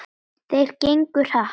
Þeir gengu hratt.